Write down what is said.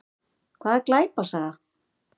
Hvað er glæpasaga?